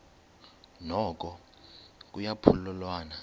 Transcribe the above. noko kuya phululwana